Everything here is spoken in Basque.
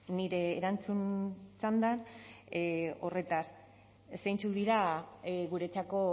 nire erantzun txanda horretaz zeintzuk dira guretzako